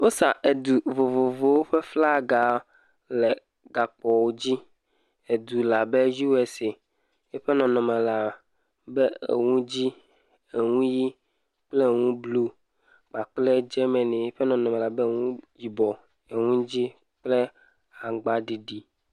wó sa edu vovovowo ƒe flaga le gakpowó dzi edu labe USA eƒe nɔnɔme eŋu dzi eŋu yi kple eŋu blu kpakple Germany yiƒe nɔnɔme labe eŋudzi kple eŋu aŋgba ɖiɖi